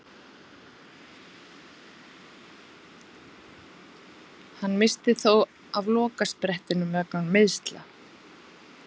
Hann missti þó af lokasprettinum vegna meiðsla.